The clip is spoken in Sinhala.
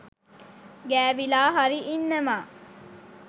ගෑවිලා හරි ඉන්නවා.